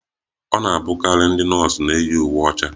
Ọ na-abụkarị ndị nọọsụ na-eyi uwe ọcha